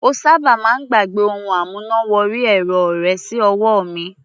Ó sábà máa ń gbàgbẹ́ ohun amúná wọrí ẹ̀rọ rẹ̀ sí ọwọ́ mi.